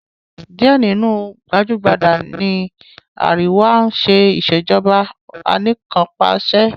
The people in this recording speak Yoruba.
Díẹ̀ nínú àwọn gbajúgbajà ní àríwá ń ṣe Ìṣèjọ́ba aníkanpàṣẹ